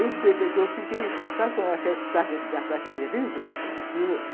Eu fiquei... Sabe como é aquele ataque de riso?